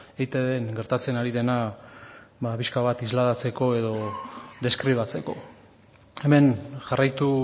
eitbn gertatzen ari dena ba pixka bat islatzeko edo deskribatzeko hemen jarraitu